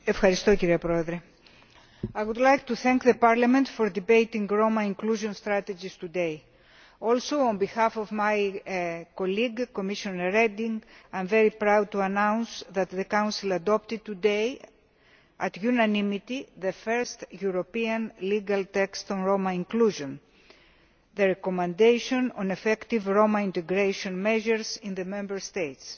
Madam President, I would like to thank Parliament for debating Roma inclusion strategies today. Also, on behalf of my colleague Commissioner Reding, I am very proud to announce that the Council adopted today, with unanimity, the first European legal text on Roma inclusion the recommendation on effective Roma integration measures in the Member States.